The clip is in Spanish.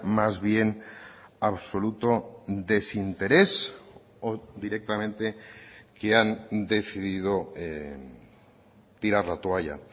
más bien absoluto desinterés o directamente que han decidido tirar la toalla